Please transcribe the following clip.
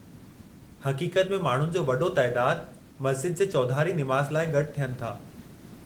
हक़ीक़त में, माण्हुनि जो वॾो तइदादु मस्ज़िद जे चौधारी निमाज़ लाइ गॾु थियनि था।